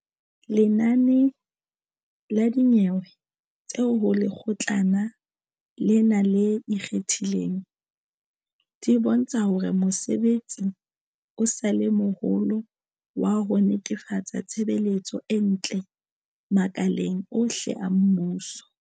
Lenane la dinyewe tse ho Lekgotlana lena le Ikgethileng, di bontsha hore mosebetsi o sa le moholo wa ho netefatsa tshebetso e ntle makaleng ohle a mmuso.